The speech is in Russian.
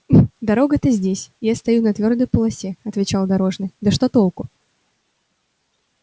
дорога-то здесь я стою на твёрдой полосе отвечал дорожный да что толку